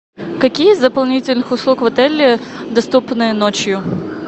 какие из дополнительных услуг в отеле доступны ночью